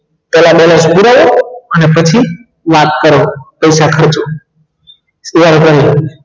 પેહલા બે ને ને પછી યાદ કરો પૈસા ખર્ચો તેઓ એ કહ્યું